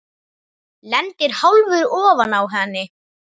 Lendir hálfur ofan á henni.